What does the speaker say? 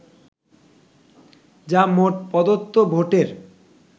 যা মোট প্রদত্ত ভোটের